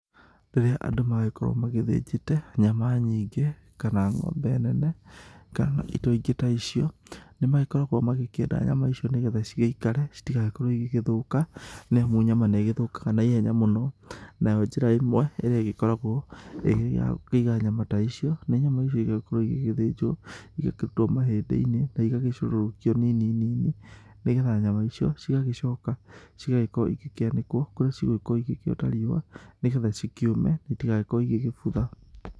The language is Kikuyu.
Rĩrĩa andũ magĩkorwo magĩthĩnjĩte nyama nyingĩ, kana ng'ombe nene, kana indo ingĩ ta icio, nĩmagĩkoragwo magĩkĩenda nyama icio nĩgetha cigĩikare citigagĩkorwo igĩgĩthũka nĩamu nyama nĩigĩgĩthũkaga na ihenya mũno. Nayo njĩra ĩmwe ĩrĩa ĩgĩkoragwo ĩrĩ ya kũiga nyama ta icoi, nĩ nyama ici igakorwo igĩgĩthĩnjwo, igakĩrutwo mahĩndĩ-inĩ na igagĩcũrũrũkio nini nĩgetha nyama icio cigagĩcoka gũkorwo igĩkĩanĩkwo kũrĩa cigũkorwo cigĩgĩota riũa nĩgetha cikĩũme itigagĩgĩkorwo igĩgĩbutha.